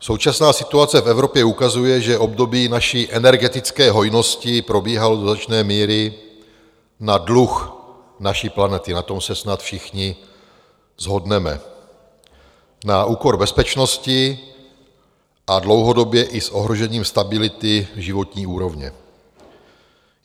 Současná situace v Evropě ukazuje, že období naší energetické hojnosti probíhalo do značné míry na dluh naší planety, na tom se snad všichni shodneme, na úkor bezpečnosti a dlouhodobě i s ohrožením stability životní úrovně.